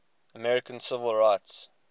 american civil rights